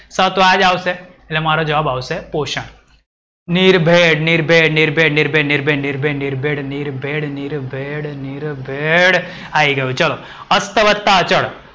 હતો આજ આવશે. એટ્લે મારો જવાબ આવશે પોષણ. આય ગયું ચલો. અત્ત વત્તા અચળ.